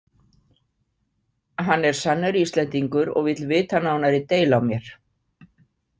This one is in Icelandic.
Hann er sannur Íslendingur og vill vita nánari deili á mér.